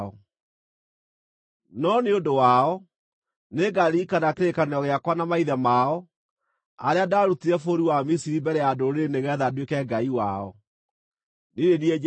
No nĩ ũndũ wao, nĩngaririkana kĩrĩkanĩro gĩakwa na maithe mao, arĩa ndaarutire bũrũri wa Misiri mbere ya ndũrĩrĩ nĩgeetha nduĩke Ngai wao. Niĩ nĩ niĩ Jehova.’ ”